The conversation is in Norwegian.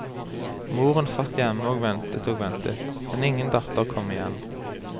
Moren satt hjemme og ventet og ventet, men ingen datter kom igjen.